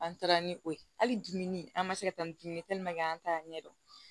An taara ni o ye hali dumuni an ma se ka taa ni dumuni ye an t'a ɲɛdɔn